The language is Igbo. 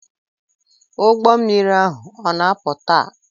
Ụgbọ mmiri ahu o na-apụ taa?